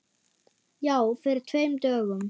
Já, fyrir tveim dögum.